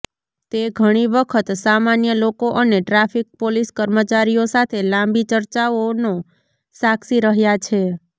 તે ઘણી વખત સામાન્ય લોકો અને ટ્રાફિક પોલીસ કર્મચારીઓ સાથે લાંબી ચર્ચાઓનો સાક્ષી રહ્યા છે